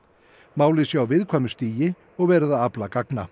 málið sé á viðkvæmu stigi og verið að afla gagna